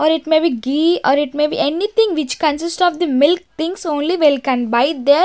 Or it may be ghee or it may be anything which consist of the milk things only will can buy there.